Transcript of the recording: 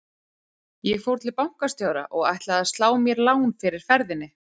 Ég fór til bankastjóra og ætlaði að slá mér lán fyrir ferðinni.